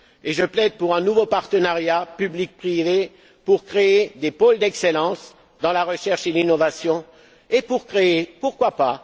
Je plaide pour un nouveau partenariat public privé en vue de créer des pôles d'excellence dans la recherche et l'innovation et de créer pourquoi